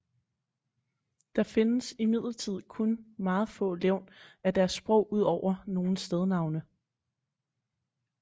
Der findes imidlertid kun meget få levn af deres sprog udover nogle stednavne